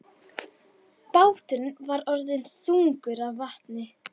Báturinn var orðinn þungur af vatni.